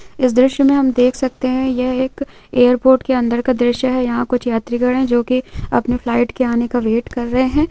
इस दृश्य में हम देख सकते है यह एक एयरपोर्ट के अंदर का दृश्य है यहां कुछ यात्रीगण है जो कि अपने फ्लाइट के आने का वेट कर रहे है।